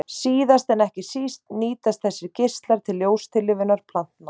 Síðast en ekki síst nýtast þessir geislar til ljóstillífunar plantna.